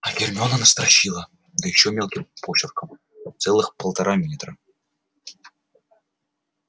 а гермиона настрочила да ещё мелким почерком целых полтора метра